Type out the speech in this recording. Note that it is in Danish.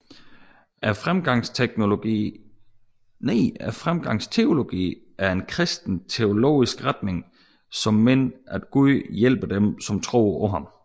Fremgangsteologi er en kristen teologisk retning som mener at Gud hjælper dem som tror på ham